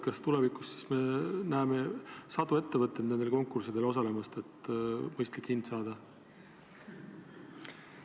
Kas tulevikus me näeme sadu ettevõtteid nendel konkurssidel osalemas, et mõistlik hind saada?